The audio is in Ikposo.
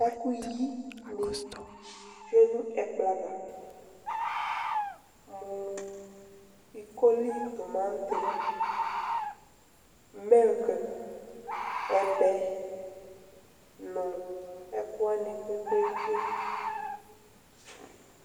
ɛkuɣi ni tchué nu ɛkplɔ ava mu iko li tomati ɛbɛ nu ɛku wani kpekpeɣekpe